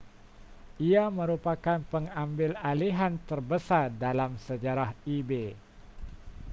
ia merupakan pengambilalihan terbesar dalam sejarah ebay